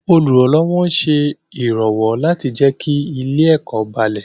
Olùrànlọ́wọ́ ń ṣe ìrànlọ́wọ́ láti jẹ́ kí ilé-ẹ̀kọ́ balẹ̀.